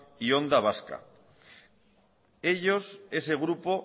y onda vasca ellos ese grupo